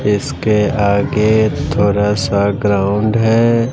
इसके आगे थोरा सा ग्राउंड है।